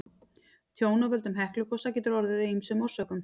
Tjón af völdum Heklugosa getur orðið af ýmsum orsökum.